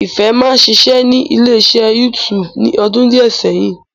Ìfẹ́ máa ń ṣiṣẹ́ ní ilé iṣẹ́ YouTube ní ọdún díẹ̀ sẹ́yìn